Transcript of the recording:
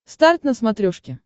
старт на смотрешке